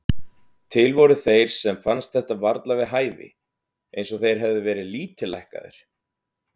Til voru þeir sem fannst þetta varla við hæfi, eins og þeir hefðu verið lítillækkaðir.